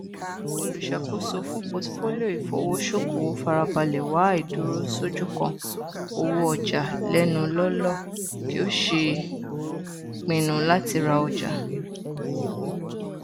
olùṣàkóso fún pọtifolio ìfowosokowo farabalẹ wo àìdúró ṣójú kan owó ọjà lẹnu lọọlọ kí ó ṣèpinnu àti ra ọjà